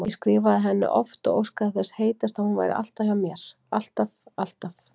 Ég skrifaði henni oft og óskaði þess heitast að hún væri hjá mér, alltaf, alltaf.